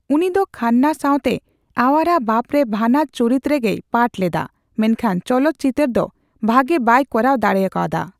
ᱩᱱᱤ ᱫᱚ ᱠᱷᱟᱱᱱᱟ ᱥᱟᱣᱛᱮ ᱟᱣᱣᱟᱨᱟ ᱵᱟᱯ ᱨᱮ ᱵᱷᱟᱱᱟᱨ ᱪᱩᱨᱤᱛ ᱨᱮᱜᱮᱭ ᱯᱟᱴᱷ ᱞᱮᱫᱟ, ᱢᱮᱱ ᱠᱷᱟᱱ ᱪᱚᱞᱚᱛ ᱪᱤᱛᱟᱹᱨ ᱫᱚ ᱵᱷᱟᱜᱮ ᱵᱟᱭ ᱠᱚᱨᱟᱣ ᱫᱟᱲᱮᱭᱟᱠᱟᱣᱫᱟ ᱾